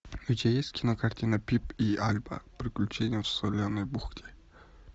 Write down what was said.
у тебя есть кинокартина пип и альба приключения в соленой бухте